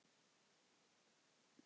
Gerðu svo vel, fröken!